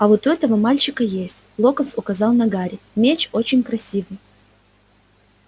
а вот у этого мальчика есть локонс указал на гарри меч очень красивый